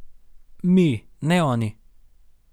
Mi, ne oni.